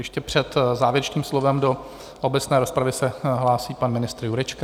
Ještě před závěrečným slovem do obecné rozpravy se hlásí pan ministr Jurečka.